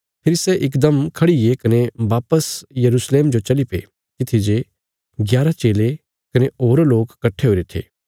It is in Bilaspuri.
फेरी सै इकदम खड़ीगे कने वापस यरूशलेम जो चलीपे तित्थी जे ग्यारा चेले कने होर लोक कट्ठे हुईरे थे